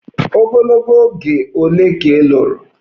Ogologo oge ole ka ị lụrụ?